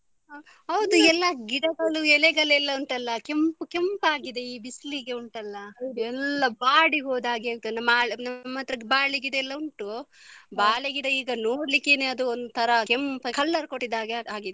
ಹ ಹೌದು ಎಲ್ಲ ಗಿಡಗಳು ಎಲೆಗಳೆಲ್ಲ ಉಂಟಲ್ಲ ಕೆಂಪು ಕೆಂಪಾಗಿದೆ ಈ ಬಿಸ್ಲಿಗೆ ಉಂಟಲ್ಲ ಎಲ್ಲ ಬಾಡಿ ಹೋದಾಗೆ ಆಯ್ತು ನಮ್ಮ ನಮ್ಮತ್ರ ಬಾಳೆ ಗಿಡ ಎಲ್ಲ ಉಂಟು ಬಾಳೆಗಿಡ ಈಗ ನೋಡ್ಲಿಕ್ಕೆನೇ ಒಂತರ ಕೆಂಪು color ಕೊಟ್ಟಿದಾಗೆ ಆಗಿದೆ.